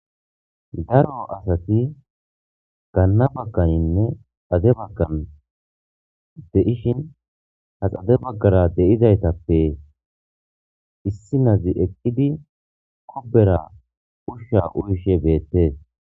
daro asati ganna bagganinne ade baggan deishin haxade baggara deizaytappe issi nazi eqqidi kubera ushsha uyishe beettees